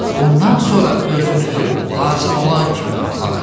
Bundan sonra özünüzü lazım olan kimi aparın.